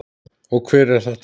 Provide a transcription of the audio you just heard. Og hver er þetta?